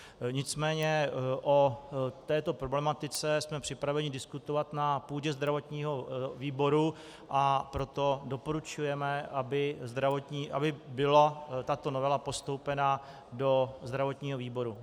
Nicméně o této problematice jsme připraveni diskutovat na půdě zdravotního výboru, a proto doporučujeme, aby byla tato novela postoupena do zdravotního výboru.